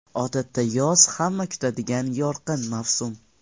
Odatda yoz hamma kutadigan yorqin mavsum.